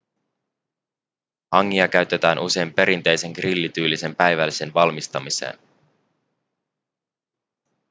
hangia käytetään usein perinteisen grillityylisen päivällisen valmistamiseen